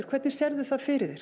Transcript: hvernig sérðu það fyrir